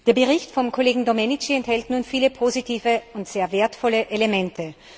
Der Bericht vom Kollegen Domenici enthält viele positive und sehr wertvolle Elemente.